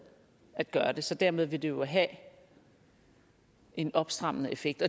at gøre det så dermed vil det jo have en opstrammende effekt